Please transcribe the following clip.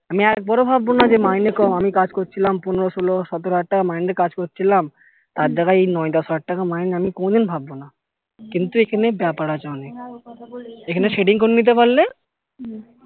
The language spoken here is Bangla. আমি একবারও ভাববো না যে মাইনে কম আমি কাজ করছিলাম পনেরো ষোলো সতেরো হাজার টাকা মাইনে এর কাজ করছিলাম তার জায়গায় এই নয় দশ হাজার টাকা মাইনে আমি কোনো দিন ভাববো না কিন্তু এখানে ব্যাপার আছে অনেক এখানে setting করে নিতে পারলে